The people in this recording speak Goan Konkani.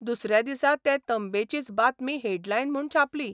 दुसऱ्या दिसा ते तंबेचीच बातमी हेडलायन म्हूण छापली.